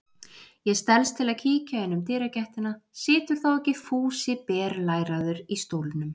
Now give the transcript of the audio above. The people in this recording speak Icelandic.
Ég stelst til að kíkja inn um dyragættina situr þá ekki Fúsi berlæraður í stólnum!